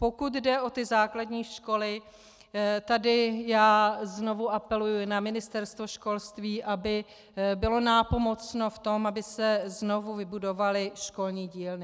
Pokud jde o ty základní školy, tady já znovu apeluji na Ministerstvo školství, aby bylo nápomocno v tom, aby se znovu vybudovaly školní dílny.